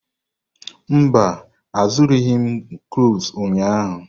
Mba, azụrụghị m cloves ụnyahụ.